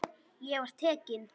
Ég var tekinn inn.